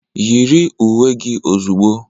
Yiri uwe gị ozugbo.